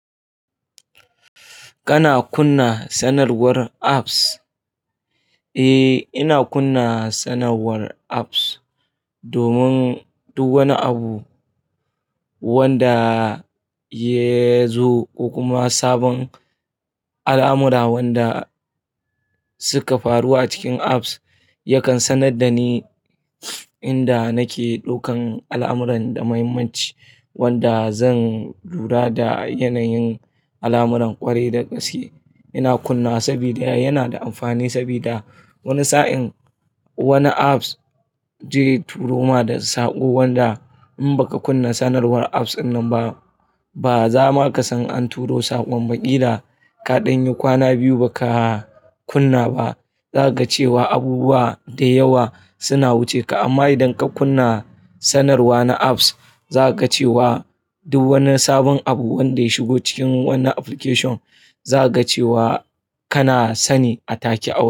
Kana kunna sanarwar apps? Eh, ina kunna sanarwar apps domin duk wani abu wanda ya zo ko kuma sabon al'amura wanda suka faru a cikin apps yakan sanar da ni inda nake ɗaukan al'amuran da mahimmanci wanda zan lura da yanayin al'amuran ƙwarai da gaske. Ina kunnawa sabida yana da amfani sabida wani sa'in wani apps zai turo ma da saƙo wanda in baka kunna sanarwar apps dinnan ba, ba za ma ka san an turo saƙon ba, ƙila kaɗan yi kwana biyu baka kunna ba zaka ga cewa abubuwa da yawa suna wuce ka. Amma idan ka kunna sanarwa na apps za ka ga cewa duk wani sabon abu wanda ya shigo cikin wannan application za ka ga cewa kana sani a take a wurin.